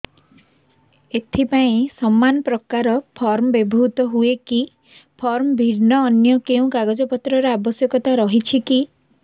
ଏଥିପାଇଁ ସମାନପ୍ରକାର ଫର୍ମ ବ୍ୟବହୃତ ହୂଏକି ଫର୍ମ ଭିନ୍ନ ଅନ୍ୟ କେଉଁ କାଗଜପତ୍ରର ଆବଶ୍ୟକତା ରହିଛିକି